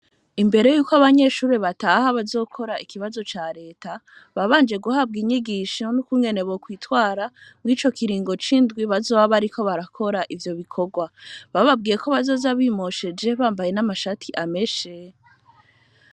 imbere Yuko abanyeshure bataha bazokora ikibazo ca leta babanje guhabwa inyigisho nukungene bokwitwara mwico kiringo c,indwi bazoba bariko barakora ivyo bikgwa, bababwiye ko bazoza bimosheje bambaye n,amashati ameshe.